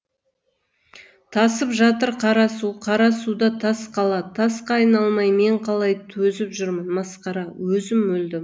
тасып жатыр қара су қара суда тас қала тасқа айналмай мен қалай төзіп жүрмін масқара өзім өлдім